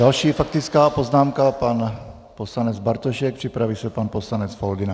Další faktická poznámka - pan poslanec Bartošek, připraví se pan poslanec Foldyna.